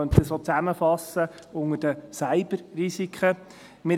Man könnte das auch unter Cyberrisiken zusammenfassen.